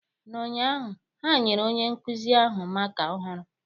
N'ụnyaahụ, ha nyere onye nkuzi ahụ maaká ọhụrụ.